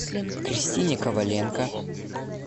кристине коваленко